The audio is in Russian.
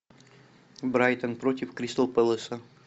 брайтон против кристал пэласа